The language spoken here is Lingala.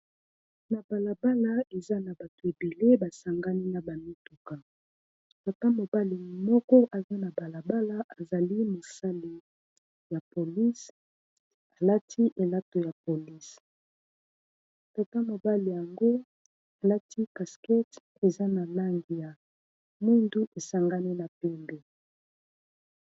na balabala eza na bato ebele basangani na bamituka tata mobali moko aza na balabala azali mosali ya police alati elato ya police kaka mobali yango alati casquette eza na langi ya muindo esangani na pembe.